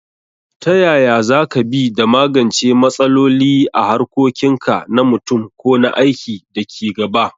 Ta yaya za ka bi da magance matsaloli a harkokin ka na mutum ko na aiki da ke gaba?